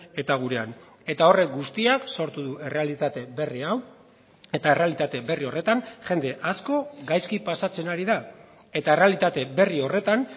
eta gurean eta horrek guztiak sortu du errealitate berri hau eta errealitate berri horretan jende asko gaizki pasatzen ari da eta errealitate berri horretan